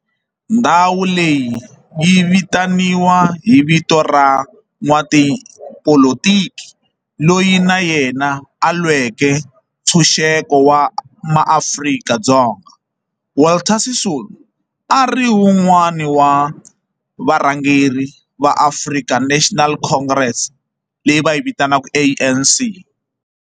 Ndhawo leyi yi vitaniwa hi vito ra n'watipolitiki loyi na yena a lweke ntshuxeko wa maAfrika-Dzonga Walter Sisulu, a ri wun'wana wa varhangeri va African National Congress, leyi va yi vitanaku ANC.